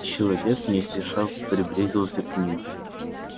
человек не спеша приблизился к ним